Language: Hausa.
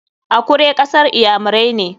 Akure kasar iyamirai ne.